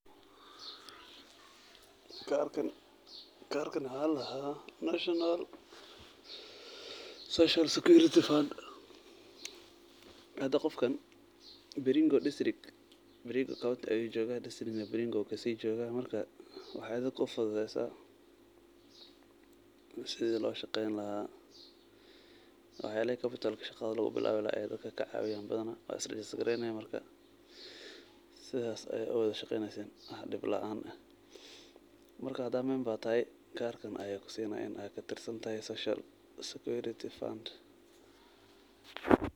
Karkan waxa ladaha National social security fund. Hada qofka Baringo county ayu joga, Baringo district ayu kasijoga marka wexey dadka ufududeysa sida loshaqeyni laha, laxyala capital shaqada lugubilawi ayey dadka kacawiyan badana wad isrejisgareyne marka sidas aya uwada shaqeyneysin marka hada member tahay karka aya kutusinaya inad katirsantahay social security fund.